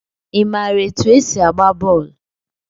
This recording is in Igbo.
I maara etu e si agba bọọlụ?